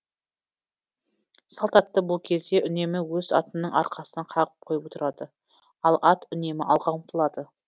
салт атты бұл кезде үнемі өз атының арқасынан қағып қойып отырады ал ат үнемі алға ұмтылады